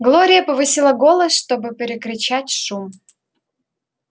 глория повысила голос чтобы перекричать шум